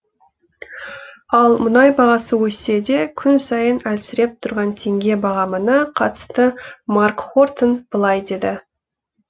ал мұнай бағасы өссе де күн сайын әлсіреп тұрған теңге бағамына қатысты марк хортон былай деді